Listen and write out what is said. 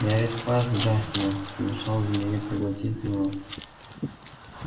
я ведь спас джастина помешал змее проглотить его